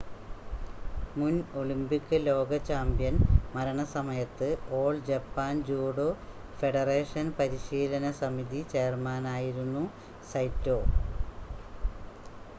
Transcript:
മുൻ ഒളിമ്പിക് ലോക ചാമ്പ്യൻ മരണസമയത്ത് ഓൾ ജപ്പാൻ ജൂഡോ ഫെഡറേഷൻ പരിശീലന സമിതി ചെയർമാനായിരുന്നു സൈറ്റോ